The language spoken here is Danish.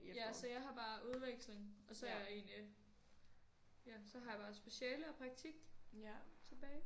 Ja så jeg har bare udveksling og så er jeg egentlig ja så har jeg bare speciale og praktik tilbage